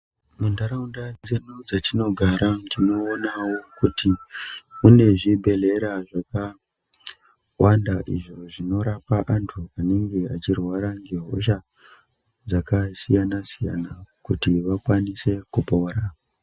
Muntaraudza dzedu dzetinogara tinoonawo kuti mune zvibhehlera zvakawanda izvo zvinorapa antu anenge echirwara ngehosha dzakasiyana siyana kuti vaone kupora